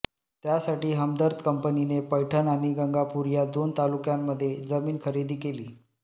त्यासाठी हमदर्द कंपनीने पैठण आणि गंगापूर या दोन तालुक्यांमध्ये जमीन खरेदी केली